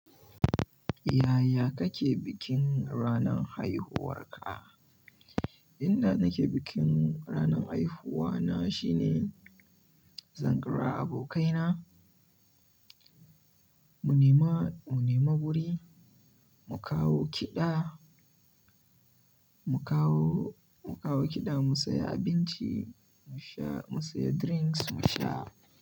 Yaya kake bikin ranan haihuwarka? Inda nake bikin ranan haihuwa na shine zan ƙira abokaina, mu nema, mu nema wuri, mu kawo kiɗa, mu kawo, mu kawo kiɗa, mu saya abinci, mu sha, mu saya drinks mu sha.